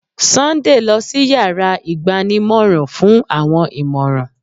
Sunday lọ sí yàrá ìgbanímọ̀ràn fún àwọn ìmọ̀ràn.